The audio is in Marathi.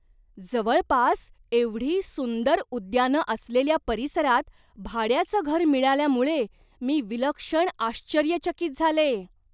जवळपास एवढी सुंदर उद्यानं असलेल्या परिसरात भाड्याचं घर मिळाल्यामुळे मी विलक्षण आश्चर्यचकित झाले.